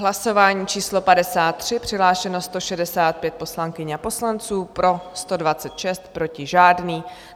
Hlasování číslo 53, přihlášeno 165 poslankyň a poslanců, pro 126, proti žádný.